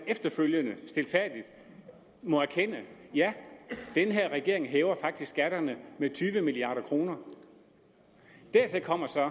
efterfølgende stilfærdigt må erkende ja den her regering hæver faktisk skatterne med tyve milliard kroner dertil kommer så